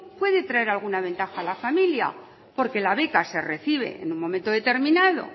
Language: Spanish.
puede traer alguna ventaja a la familia porque la beca se recibe en un momento determinado